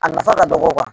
A nafa ka dɔgɔ